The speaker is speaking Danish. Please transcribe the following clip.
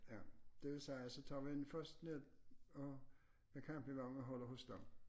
Ja det vil sige så tager vi den først ned og med campingvognen og holder hos dem